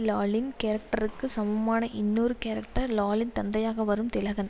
லாலின் கேரக்டருக்கு சமமான இன்னொரு கேரக்டர் லாலின் தந்தையாக வரும் திலகன்